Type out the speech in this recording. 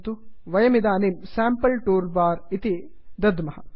वयमिदानीं sample tool bar sample tool bar इति दद्मः